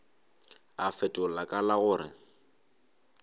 a fetola ka la gore